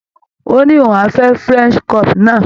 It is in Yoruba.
Ó ní òun fẹ́ French crop náà.